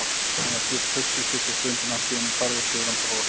Hann var djúpt hugsi í stutta stund en allt í einu færðist yfir hann bros.